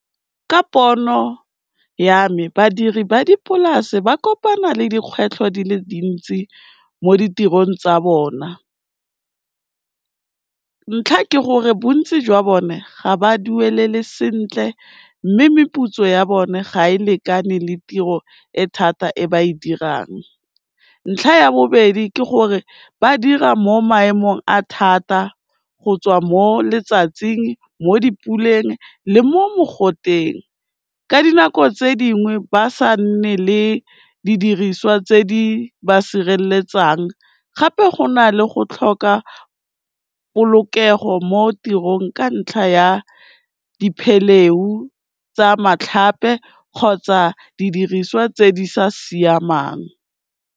Ka pono ya me, badiri ba dipolase ba kopana le dikgwetlho di le dintsi mo ditirong tsa bona ntlha ke gore, bontsi jwa bone ga ba duelele sentle mme meputso ya bone ga e lekane le tiro e thata e ba e dirang, ntlha ya bobedi ke gore ba dira mo maemong a thata go tswa mo letsatsing, mo dipuleng le mo mogoteng, ka dinako tse dingwe ba sa nne le didiriswa tse di ba sireletsang gape go na le go tlhoka polokego mo tirong ka ntlha ya diphelehu tsa matlhape kgotsa didiriswa tse di sa siamang.